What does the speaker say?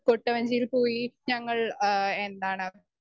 speaker 1 കൊട്ടവഞ്ചിയിൽ പോയി ഞങ്ങൾ ആ എന്താണ്